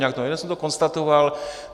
Jenom jsem to konstatoval.